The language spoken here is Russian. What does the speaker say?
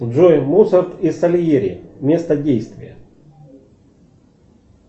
джой моцарт и сальери место действия